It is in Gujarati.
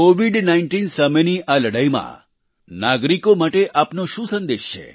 COVID19 સામેની આ લડાઇમાં નાગરીકો માટે આપનો શું સંદેશ છે